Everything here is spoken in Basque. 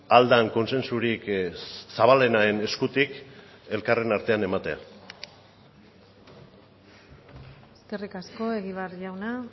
ahal den kontsentsurik zabalenaren eskutik elkarren artean ematea eskerrik asko egibar jauna